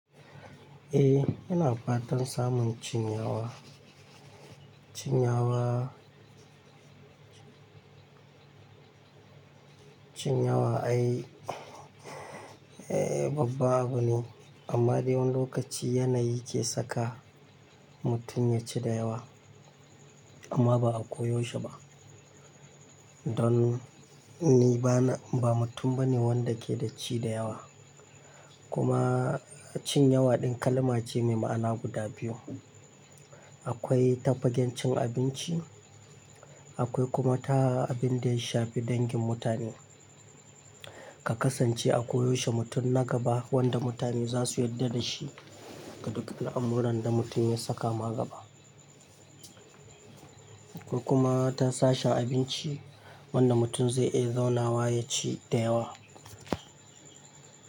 Eh, yana fatan samun cin ya wa. Cin yawa, cin yawa ai eh babba abu ne. Amma dai wani lokaci yana yi ke saka, mutum ya ci da yawa amma ba a ko yaushe ba. Don ni ba na, ba mutum ba ne wanda ke da ci da yawa. Kuma cin yawa ɗin kalma ce mai ma'ana guda biyu. Akwai ta fagen cin abinci, akwai kuma ta abin da ya shafi dangin mutane. Ka kasance a koyaushe mutum na gaba wanda mutane za su yarda da shi ga duk al 'amran da mutum ya saka ma gaba. Ko kuma ta sashen abinci wanda mutum zai iya zauna wa ya ci da yawa.